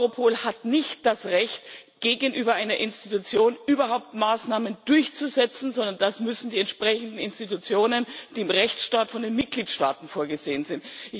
Europol hat nicht das Recht, gegenüber einer Institution überhaupt Maßnahmen durchzusetzen. Dafür sind die entsprechenden Institutionen verantwortlich, die im Rechtsstaat von den Mitgliedstaaten vorgesehen sind.